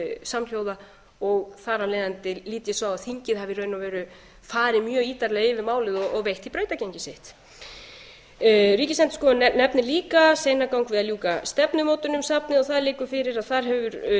samhljóða og þar af leiðandi lít ég svo á að þingið hafi í raun og veru farið mjög ítarlega yfir málið og veitt því brautargengi sitt ríkisendurskoðun nefnir líka seinagang við að baka stefnumótun um safnið það liggur fyrir að hún hefur